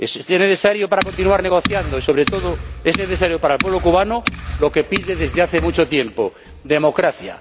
Es necesario para continuar negociando y, sobre todo, es necesario para el pueblo cubano lo que pide desde hace mucho tiempo democracia.